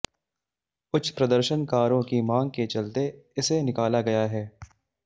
उच्च प्रदर्शन कारों की मांग के चलते इसे निकाला गया है